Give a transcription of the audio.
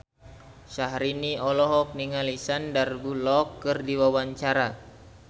Syahrini olohok ningali Sandar Bullock keur diwawancara